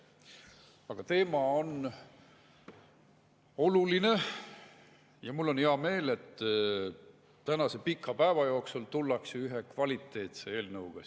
Aga teema on oluline ja mul on hea meel, et tänase pika päeva jooksul tullakse siia ka ühe kvaliteetse eelnõuga.